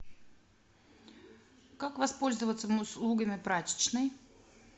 как воспользоваться услугами прачечной